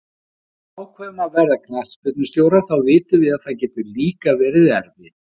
Þegar við ákveðum að verða knattspyrnustjórar þá vitum við að það getur líka verið erfitt.